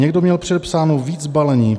Někdo měl předepsáno víc balení.